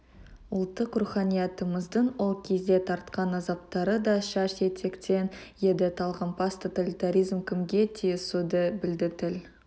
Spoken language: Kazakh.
ұлттық руханиятымыздың ол кезде тартқан азаптары да шаш етектен еді талғампаз тоталитаризм кімге тиісуді білді тіл